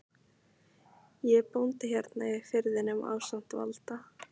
Ég er bóndi hérna í firðinum ásamt Valda